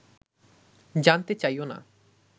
জানতে চাইও না